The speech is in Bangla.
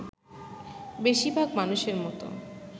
বেশির ভাগ মানুষের মতো